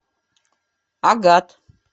агат